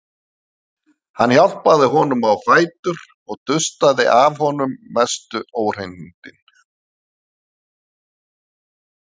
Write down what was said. Hann hjálpaði honum á fætur og dustaði af honum mestu óhreinindin.